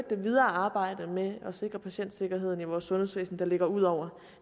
det videre arbejde med at sikre patientsikkerhed i vores sundhedsvæsen der ligger ud over